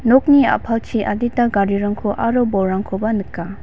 nokni a·palchi adita garirangko aro bolrangkoba nika.